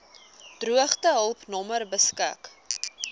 droogtehulp nommer beskik